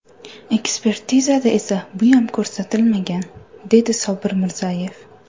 Ekspertizada esa buyam ko‘rsatilmagan, dedi Sobir Mirzayev.